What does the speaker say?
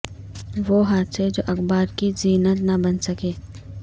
وہ حادثے جو اخبار کی زینت نہ بن سکیں